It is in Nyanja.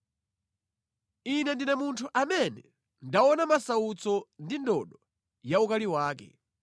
Ine ndine munthu amene ndaona masautso ndi ndodo ya ukali wake.